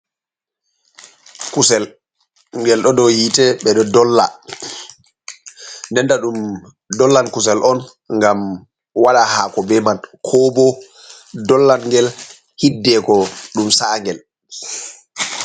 Kusel ngel ɗo dow yiite ɓe ɗo dolla, nden to ɗum dollan kusel on ngam waɗa haako be man ,ko bo dollangel hiddeko ɗum sa'a ngel.